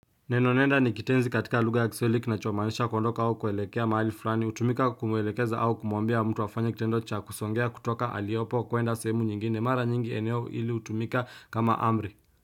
Neno nenda ni kitenzi katika lugha ya kiswahili kinacho maanisha kuondoka au kuelekea mahali fulani hutumika kuelekeza au kumwambia mtu afanye kitendo cha kusongea kutoka aliopo kuenda sehemu nyingine mara nyingi eneo hili hutumika kama amri.